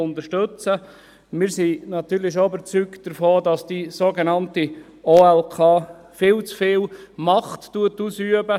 Wir sind natürlich überzeugt, dass die sogenannte OLK viel zu viel Macht ausübt.